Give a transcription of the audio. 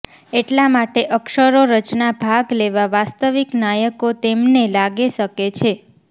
એટલા માટે અક્ષરો રચના ભાગ લેવા વાસ્તવિક નાયકો તેમને લાગે શકે છે